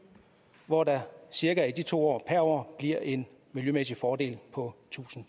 hvor der cirka i de to år per år bliver en miljømæssig fordel på tusind